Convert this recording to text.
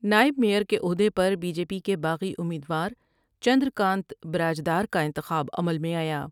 نائب میئر کے عہدے پر بی جے پی کے باغی امید وار چندر کانت براج دار کا انتخاب عمل میں آیا ۔